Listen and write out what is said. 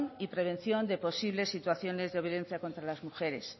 y prevención de posibles situaciones de violencia contra las mujeres